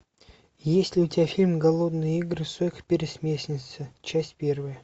есть ли у тебя фильм голодные игры сойка пересмешница часть первая